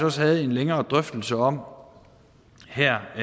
også havde en længere drøftelse om her